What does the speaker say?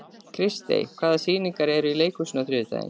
Kristý, hvaða sýningar eru í leikhúsinu á þriðjudaginn?